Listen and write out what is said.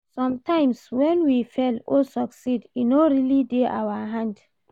Sometimes when we fail or succeed e no really dey our hand